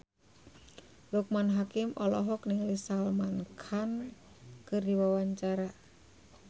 Loekman Hakim olohok ningali Salman Khan keur diwawancara